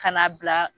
Ka na bila